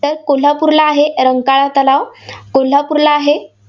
तर कोल्हापूरला आहे रंकाळा तलाव. कोल्हापूरला आहे.